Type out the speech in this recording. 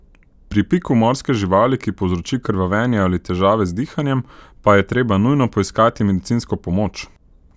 Pri piku morske živali, ki povzroči krvavenje ali težave z dihanjem, pa je treba nujno poiskati medicinsko pomoč!